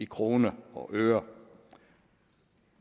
kroner og øre